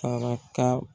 Saraka